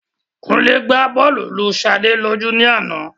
Kúnlé gba bọ́ọ̀lù lu Sade lójú ní àná